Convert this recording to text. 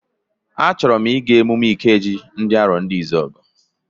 A chọrọ m ịga emume Ikeji nke ndị Arondizuogu.